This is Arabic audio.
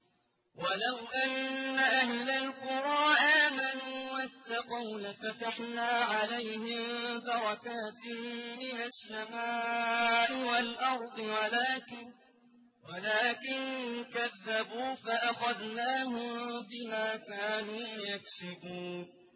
وَلَوْ أَنَّ أَهْلَ الْقُرَىٰ آمَنُوا وَاتَّقَوْا لَفَتَحْنَا عَلَيْهِم بَرَكَاتٍ مِّنَ السَّمَاءِ وَالْأَرْضِ وَلَٰكِن كَذَّبُوا فَأَخَذْنَاهُم بِمَا كَانُوا يَكْسِبُونَ